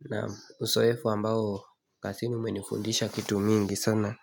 Na uso hefu ambao kasi ni umenifundisha kitu mingi sana